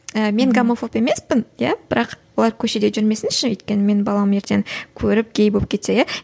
ііі мен гомофоб емеспін иә бірақ олар көшеде жүрмесінші өйткені менің балам ертең көріп гей болып кетсе иә